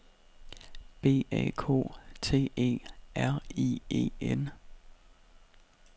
B A K T E R I E N